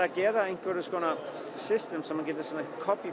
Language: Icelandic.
að gera einhvers konar system sem maður getur copy